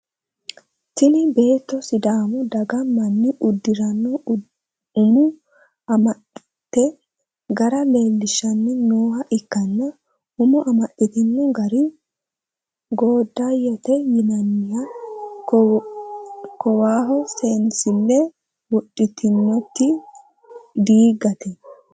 Tinni beetto sidaamu daga manni udiranna umo amaxate gara leelishanni nooha ikanna umo amaxitino gari goodayote yinnanni kowaho seensileho wodhitinoti diigate